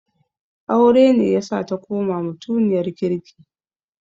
Aure ne yasa ta koma mutiniyar kirki.